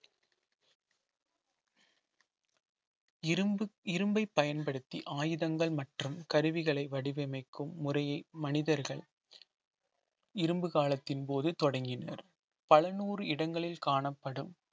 இரும்பு இரும்பை பயன்படுத்தி ஆயுதங்கள் மற்றும் கருவிகளை வடிவமைக்கும் முறைய மனிதர்கள் இரும்பு காலத்தின்போது தொடங்கினர் பல நூறு இடங்களில் காணப்படும்